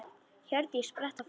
Hjördís spratt á fætur.